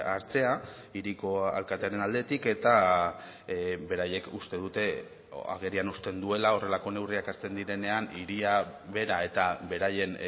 hartzea hiriko alkatearen aldetik eta beraiek uste dute agerian uzten duela horrelako neurriak hartzen direnean hiria bera eta beraien